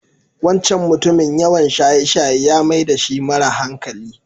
Wancan mutumin yawan shaye-shaye ya mai dashi mara hankali.